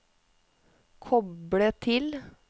koble til